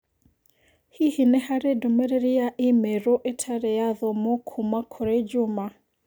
Hihi nĩ harĩ ndũmĩrĩri ya i-mīrū itarĩ yaathomwo kuuma kũrĩ juma